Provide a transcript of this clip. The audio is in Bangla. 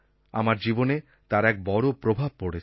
আমার জীবনে তার এক বড়ো প্রভাব পড়েছে